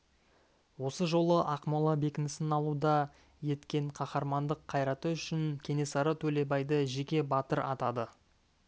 осы жолы ақмола бекінісін алуда еткен қаһармандық қайраты үшін кенесары төлебайды жеке батыр атады